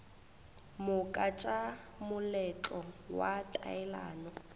moka tša moletlo wa taelano